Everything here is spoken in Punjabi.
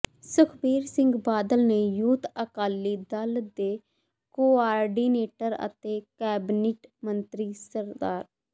ਸੁਖਬੀਰ ਸਿੰਘ ਬਾਦਲ ਨੇ ਯੁਥ ਅਕਾਲੀ ਦਲ ਦੇ ਕੋਆਰਡੀਨੇਟਰ ਅਤੇ ਕੈਬਨਿਟ ਮੰਤਰੀ ਸ